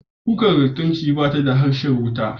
Kukar lantarki bata da harshen wuta.